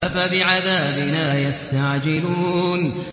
أَفَبِعَذَابِنَا يَسْتَعْجِلُونَ